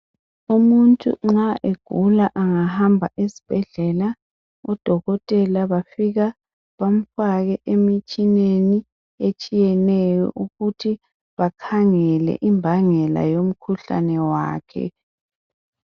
Umuntu nxa egula angahamba esibhedlela kudokotela bafika bamfake emitshineni etshiyeneyo ukuthi bakhangele imbangela yomkhuhlane wakhe.